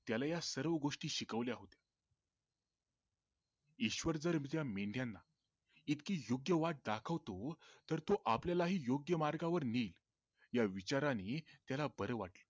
त्याला ह्या सर्व गोष्टी शिकवल्या होत्या ईश्वर जर त्या मेंढयाना इतकी योग्य वाट दाखवतो तर तो आपल्यालाही योग्य मार्गांवर नेईल या विचारांनी त्याला बर वाटलं